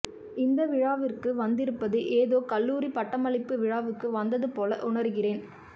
இந்த விழாவிற்கு வந்திருப்பது ஏதோ கல்லூரி பட்டமளிப்பு விழாவுக்கு வந்தது போல உணர்கிறேன்